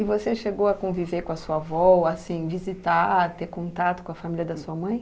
E você chegou a conviver com a sua avó, assim, visitar, ter contato com a família da sua mãe?